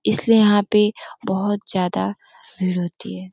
इसलिए यहां पे बहोत ज्यादा भीड़ होती है।